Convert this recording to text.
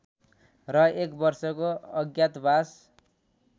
र एक वर्षको अज्ञातवास